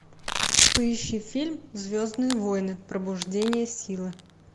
поищи фильм звездные войны пробуждение силы